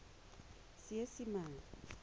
seesimane